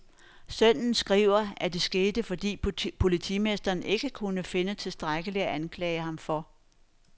Sønnen skriver, at det skete, fordi politimesteren ikke kunne finde tilstrækkeligt at anklage ham for.